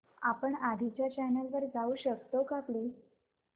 आपण आधीच्या चॅनल वर जाऊ शकतो का प्लीज